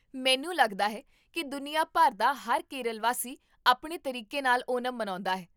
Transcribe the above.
ਮੈਨੂੰ ਲੱਗਦਾ ਹੈ ਕੀ ਦੁਨੀਆ ਭਰ ਦਾ ਹਰ ਕੇਰਲ ਵਾਸੀ ਆਪਣੇ ਤਰੀਕੇ ਨਾਲ ਓਨਮ ਮਨਾਉਂਦਾ ਹੈ